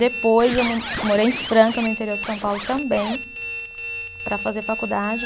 Depois eu mo morei em Franca, no interior de São Paulo também, para fazer faculdade.